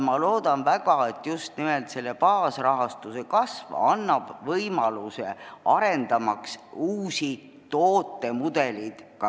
Ma loodan väga, et just nimelt baasrahastuse kasv annab võimaluse arendada välja uusi tootemudeleid.